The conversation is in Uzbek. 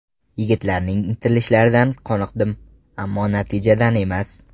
Yigitlarning intilishlaridan qoniqdim, ammo natijadan emas.